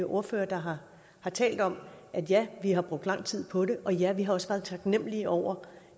ordførere der har talt om at ja vi har brugt lang tid på det og ja vi har også været taknemmelige over